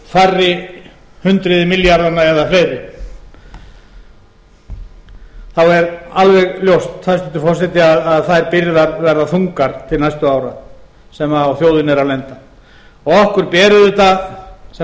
færri hundruð milljarðanna eða fleiri þá er alveg ljóst hæstvirtur forseti að þær byrðar verða þungar til næstu ára sem á þjóðinni eru að lenda og okkur ber auðvitað sem